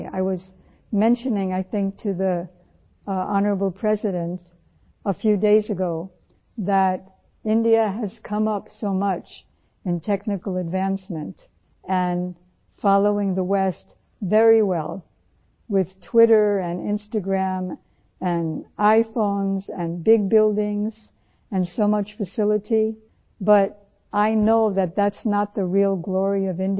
I was mentioning I think to Hon'ble President a few days ago that India has come up so much in technical advancement and following the west very well with Twitter and Instagram and iPhones and Big buildings and so much facility but I know that, that's not the real glory of India